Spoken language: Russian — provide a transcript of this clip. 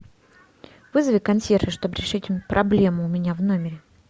вызови консьержа чтобы решить проблему у меня в номере